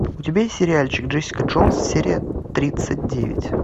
у тебя есть сериальчик джессика джонс серия тридцать девять